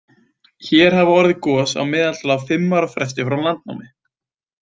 Hér hafa orðið gos að meðaltali á um fimm ára fresti frá landnámi.